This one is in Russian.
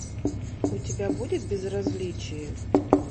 у тебя будет безразличие